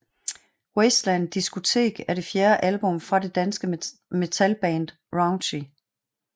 Wasteland Discotheque er det fjerde album fra det danske metalband Raunchy